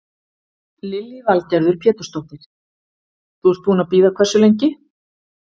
Lillý Valgerður Pétursdóttir: Þú ert búinn að bíða hversu lengi?